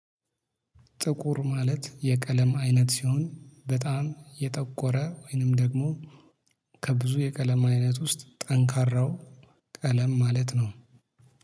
ጥቁር ማለት የቀለም አይነት ሲሆን በጣም የጠቆረ ወይንም ደግሞ ከብዙ የቀለም አይነት ውስጥ ጠንካራው ቀለም ማለት ነው